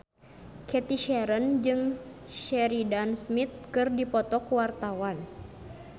Cathy Sharon jeung Sheridan Smith keur dipoto ku wartawan